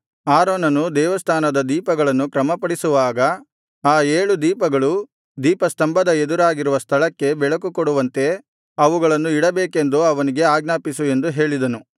ಆರೋನನು ದೇವಸ್ಥಾನದ ದೀಪಗಳನ್ನು ಕ್ರಮಪಡಿಸುವಾಗ ಆ ಏಳು ದೀಪಗಳು ದೀಪಸ್ತಂಭದ ಎದುರಾಗಿರುವ ಸ್ಥಳಕ್ಕೆ ಬೆಳಕುಕೊಡುವಂತೆ ಅವುಗಳನ್ನು ಇಡಬೇಕೆಂದು ಅವನಿಗೆ ಆಜ್ಞಾಪಿಸು ಎಂದು ಹೇಳಿದನು